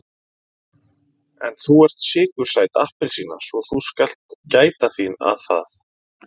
En þú ert sykursæt appelsína svo þú skalt gæta þín að það.